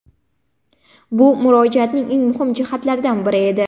Bu Murojaatning eng muhim jihatlaridan biri edi.